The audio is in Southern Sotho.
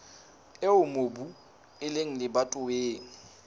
eo mobu o leng lebatoweng